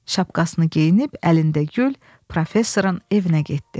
Şapkasını geyinib, əlində gül, professorun evinə getdi.